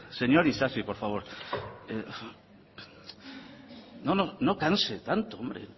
señor isasi por favor no canse tanto hombre